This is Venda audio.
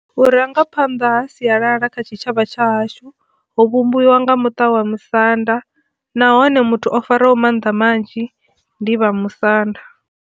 Vhurangaphanda ha sialala kha tshitshavha tsha hashu ho vhumbiwa nga muṱa wa musanda nahone muthu o fariwa ho mannḓa manzhi ndi vha musanda.